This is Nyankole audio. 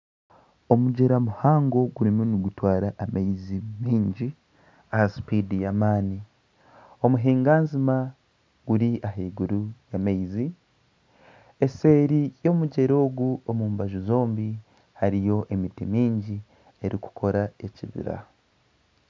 Omugyera muhango gurimu nigutwara amaizi mingi aha spiidi y'amaani. Omuhinganzima guri ahaiguru y'amaizi. Eseeri y'omugyera ogu omu mbaju zombi hariyo emiti mingi erikukora ekibira.